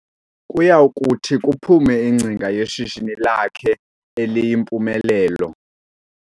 Kuyakuthi kuphume ingcinga yeshishini lakhe eliyimpumelelo.